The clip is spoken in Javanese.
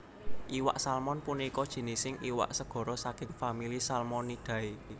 Iwak Salmon punika jinising iwak segara saking famili Salmonidae